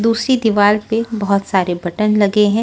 दूसरी दीवार पे बहुत सारे बटन लगे हैं।